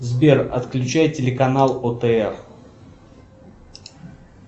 сбер отключай телеканал отр